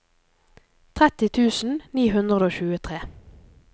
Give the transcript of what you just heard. tretti tusen ni hundre og tjuetre